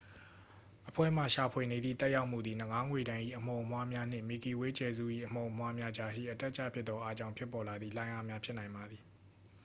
အဖွဲ့မှ ရှာဖွေနေသည့် သက်ရောက်မှုသည် နဂါးငွေ့တန်း၏ အမှုန်အမွှားများနှင့် မစ်ကီဝေးကြယ်စု၏ အမှုန်အမွှားများကြားရှိ အတက်အကျဖြစ်သောအားကြောင့် ဖြစ်ပေါ်လာသည့် လှိုင်းအားဖြစ်နိုင်ပါသည်